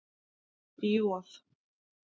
J